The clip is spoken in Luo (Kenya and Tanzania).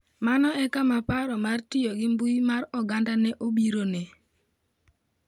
Mano e kama paro mar tiyo gi mbuyi mar oganda ne obirone.